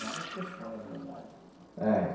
Várias questões, na verdade. É